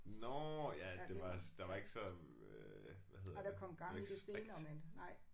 Nåh ja det var der var ikke så øh hvad hedder det. Det var ikke så strikt